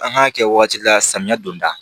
An k'a kɛ waati la samiya don da